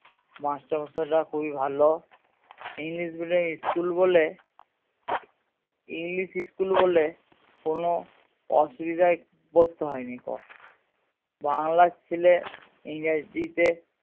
মাস্টারমশাইরা খুবই ভালো english medium school বোলে englishschool বোলে কোনো অসুবিধায় পড়তে হয় নি কো বাংলার ছেলে ইংরাজিতে